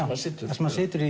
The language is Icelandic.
hann situr þar sem hann situr